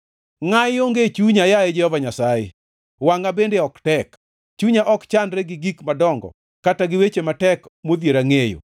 Ngʼayi onge e chunya, yaye Jehova Nyasaye, wangʼa bende ok tek; chunya ok chandre gi gik madongo, kata gi weche matek modhiera ngʼeyo.